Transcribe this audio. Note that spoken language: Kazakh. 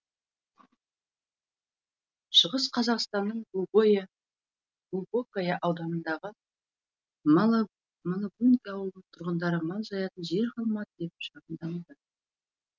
шығыс қазақстанның глубокое ауданындағы малоубинка ауылының тұрғындары мал жаятын жер қалмады деп шағымдануда